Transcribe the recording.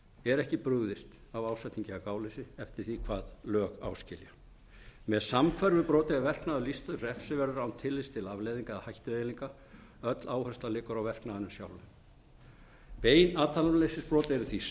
er ekki brugðist af ásetningi eða gáleysi eftir því hvað lög áskilja með samhverfu broti er verknaður lýstur refsiverður án tillits til afleiðinga eða hættueiginleika öll áhersla liggur á verknaðinum sjálfum bein athafnaleysisbrot eru því samhverf